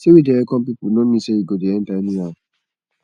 sey we dey welcome pipu no mean sey you go dey enta anyhow